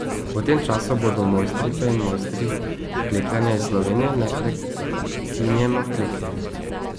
V tem času bodo mojstrice in mojstri klekljanja iz Slovenije neprekinjeno klekljali.